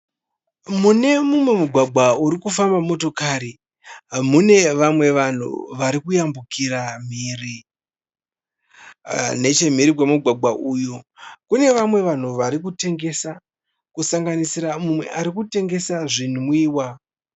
Mune mumwe mugwagwa uri kufamba motikari mune vamwe vanhu vari kuyambukira mhiri. Nechemhiri kwemugwagwa uyu kune vamwe vanhu varikutengesa, kusanganisira umwe arikutengesa zvinwiwa.